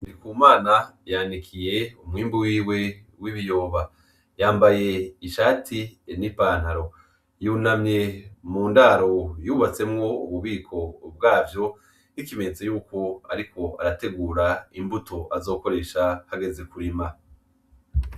NDIKUMANA yanikiye umwimbu wiwe w'ibiyoba. Yambaye ishati n'ipantaro, yunamye mu ndaro yubatsemwo ububiko bwavyo nk'ikimenyetso cuko ariko arategura imbuto azokoresha hageze kurima.